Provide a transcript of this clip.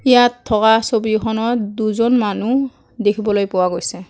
ইয়াত থকা ছবিখনত দুজন মানুহ দেখিবলৈ পোৱা গৈছে।